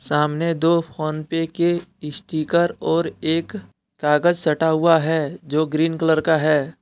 सामने दो PhonePe के स्टीकर और एक कागज सटा हुआ हैंजो ग्रीन कलर का है।